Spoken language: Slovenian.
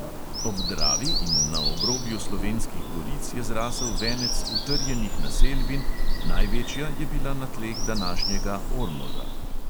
Ob dravi in na obrobju slovenskih goric je zrasel venec utrjenih naselbin, največja je bila na tleh današnjega ormoža.